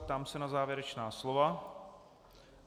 Ptám se na závěrečná slova.